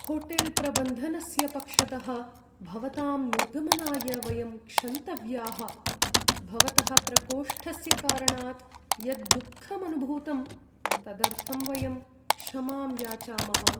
होटेल्प्रबन्धनस्य पक्षतः भवतां निर्गमनाय वयं क्षन्तव्याः, भवतः प्रकोष्ठस्य कारणात् यद्दुःखम् अनुभूतं तदर्थं वयं क्षमां याचामः।